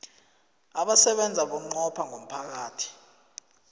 abasebenza bunqopha ngomphakathi